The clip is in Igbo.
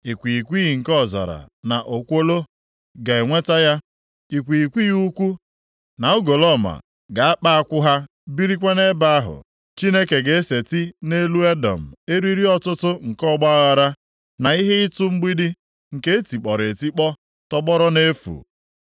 Ikwighịkwighị nke ọzara na okwolo ga-enweta ya, ikwighịkwighị ukwu na ugolọma ga-akpa akwụ ha birikwa nʼebe ahụ. Chineke ga-eseti nʼelu Edọm, eriri ọtụtụ nke ọgbaaghara, na ihe ịtụ mgbidi nke e tikpọrọ etikpọ, tọgbọrọ nʼefu.